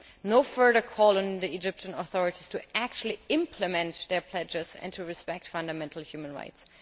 No further call on the Egyptian authorities to actually implement their pledges and to respect fundamental human rights.